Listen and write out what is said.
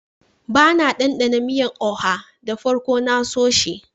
Da na danɗana miyan " oha" da farko na so shi.